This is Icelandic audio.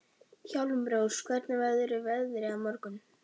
Hjálmrós, hvernig verður veðrið á morgun?